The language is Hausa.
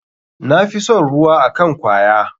Na fi son ruwa akn kwaya.